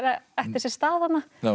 ætti sér stað þarna